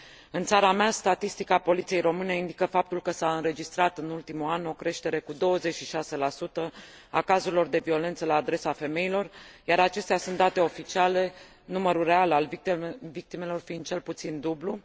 În țara mea, statistica Poliției Române indică faptul că s a înregistrat, în ultimul an, o creștere cu 26 a cazurilor de violență la adresa femeilor, iar acestea sunt date oficiale, numărul real al victimelor fiind cel puțin dublu.